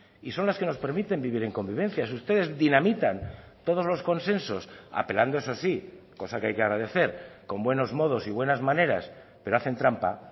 y son las que nos permiten vivir en convivencia si ustedes dinamitan todos los consensos apelando eso sí cosa que hay que agradecer con buenos modos y buenas maneras pero hacen trampa